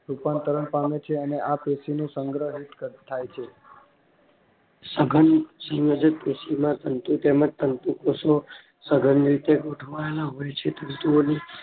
રૂપાંતરણ પામે છે અને આ પેશી નું સંગ્રહિત થાય છે સાધન સંયોજક પેસી માં તંતુ તેમજ તંતુ કોષો સઘન રીતે ગોઠવાયેલા હોય છે તંતુઓની